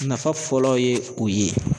Nafa fɔlɔ ye o ye.